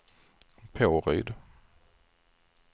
Påryd